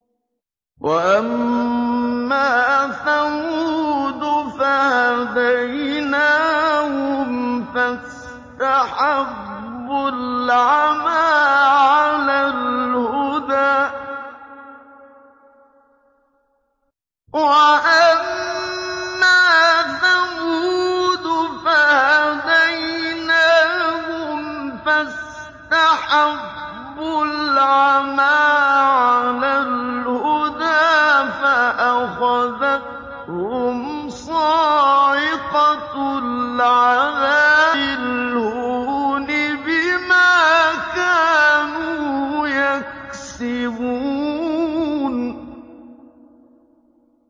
وَأَمَّا ثَمُودُ فَهَدَيْنَاهُمْ فَاسْتَحَبُّوا الْعَمَىٰ عَلَى الْهُدَىٰ فَأَخَذَتْهُمْ صَاعِقَةُ الْعَذَابِ الْهُونِ بِمَا كَانُوا يَكْسِبُونَ